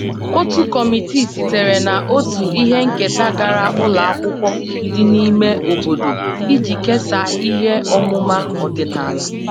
Otu kọmitii sitere na otu ihe nketa gara ụlọ akwụkwọ dị n'ime obodo iji kesaa ihe ọmụma ọdịnala